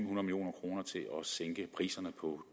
sænke priserne på